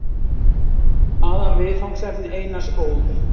Aðalviðfangsefni Einars Ól.